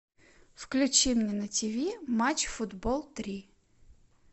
включи мне на тв матч футбол три